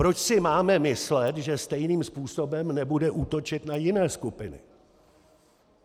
Proč si máme myslet, že stejným způsobem nebude útočit na jiné skupiny?